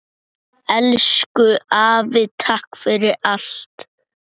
Elsku afi takk fyrir allt.